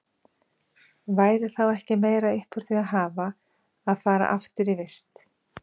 Væri þá ekki meira upp úr því að hafa að fara aftur í vist?